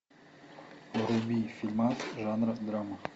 вруби фильмас жанра драма